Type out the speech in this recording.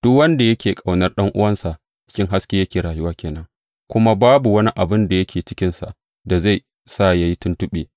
Duk wanda yake ƙaunar ɗan’uwansa, a cikin hasken yake rayuwa ke nan, kuma babu wani abin da yake cikinsa da zai sa yă yi tuntuɓe.